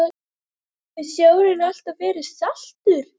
Ég vona að þér eigi eftir að farnast vel með útgerðarfyrirtækið í Englandi.